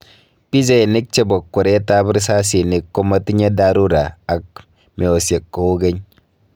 Pichainik chebo kweret ab risasinik komatinye dharura ak meosiek kou keny